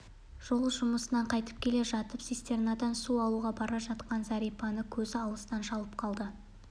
жол жұмысынан қайтып келе жатып цистернадан су алуға бара жатқан зәрипаны көзі алыстан шалып қалды